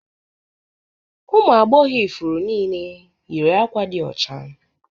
Ụmụ agbọghọ ifuru niile yiri àkwá di ọcha.